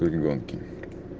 были гонки